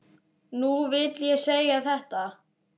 Nú vil ég segja þetta.